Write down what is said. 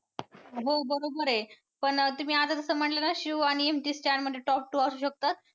हो बरोबर आहे पण तुम्ही आता जसं म्हंटल ना शिव आणि MC Stan मध्ये top two असू शकतात.